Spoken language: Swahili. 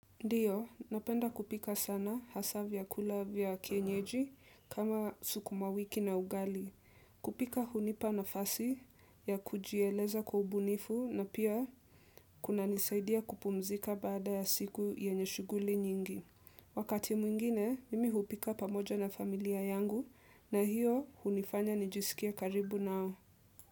Ndiyo, napenda kupika sana haswa vyakula vya kienyeji kama sukumawiki na ugali. Kupika hunipa nafasi ya kujieleza kwa ubunifu na pia kuna nisaidia kupumzika baada ya siku yenye shuguli nyingi. Wakati mwingine, mimi hupika pamoja na familia yangu na hiyo hunifanya nijisikie karibu nao.